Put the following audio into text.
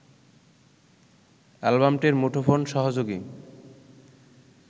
অ্যালবামটির মুঠোফোন-সহযোগী